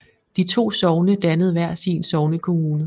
De to sogne dannede hver sin sognekommune